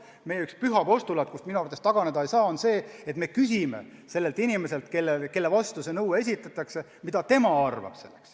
Meil on üks püha postulaat, millest minu arvates taganeda ei saa, ja see on, et me küsime inimeselt, kelle vastu nõue on esitatud, mida tema asjast arvab.